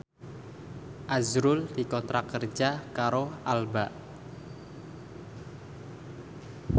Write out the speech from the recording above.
azrul dikontrak kerja karo Alba